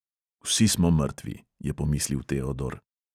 Vsi smo mrtvi, je pomislil teodor.